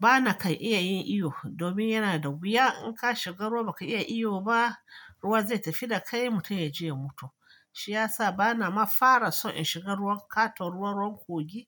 Ba na kan iya yin iyo, domin yana da wuya in ka shiga ruwa baka iya iyo ba, ruwa zai tafi da kai mutum ya je ya mutu. Shi ya sa ba na mafara son in shiga ruwan katon ruwan kogin